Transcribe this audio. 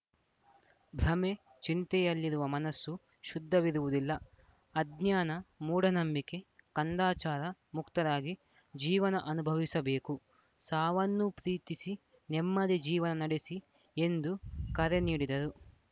ಭ್ರಮೆ ಚಿಂತೆಯಲ್ಲಿರುವ ಮನಸ್ಸು ಶುದ್ಧವಿರುವುದಿಲ್ಲ ಅಜ್ಞಾನ ಮೂಢನಂಬಿಕೆ ಕಂದಾಚಾರ ಮುಕ್ತರಾಗಿ ಜೀವನ ಅನುಭವಿಸಬೇಕು ಸಾವನ್ನೂ ಪ್ರೀತಿಸಿ ನೆಮ್ಮದಿ ಜೀವನ ನಡೆಸಿ ಎಂದು ಕರೆ ನೀಡಿದರು